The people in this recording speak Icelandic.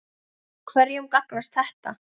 Hverjum gagnast þetta?